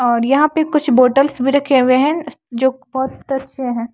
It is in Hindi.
और यहां पे कुछ बॉटल्स भी रखे हुए हैं जो की बहोत अच्छे हैं।